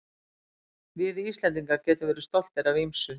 Við Íslendingar getum verið stoltir af ýmsu.